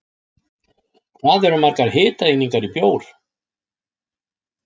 Hvað eru margar hitaeiningar í bjór?